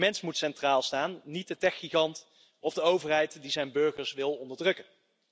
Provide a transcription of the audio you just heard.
De mens moet centraal staan, niet de techgigant of de overheid die zijn burgers wil onderdrukken.